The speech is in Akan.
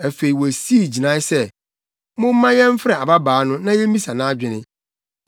Afei, wosii gyinae sɛ, “Momma yɛmfrɛ ababaa no, na yemmisa nʼadwene.”